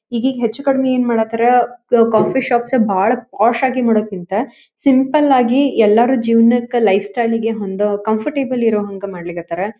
ಈಗೀಗ ಹೆಚ್ಚು ಕಡಿಮಿ ಏನ ಮಾಡ್ತಾರ ಕ ಕಾಫಿ ಶಾಪ್ಸ್ ಭಾಳ ಪಾಶ್ ಆಗಿ ಮಾಡೋದಕ್ಕಿಂತ ಸಿಂಪಲ್ ಆಗಿ ಎಲ್ಲರ ಜೀವನಕ್ಕ ಲೈಫ್ ಸ್ಟೈಲ್ ಗೆ ಹೊಂದುವ ಕಂಫರ್ಟಬಲ್ ಇರುಹಂಗ ಮಾಡ್ಲಿಕ್ಕತ್ತಾರ.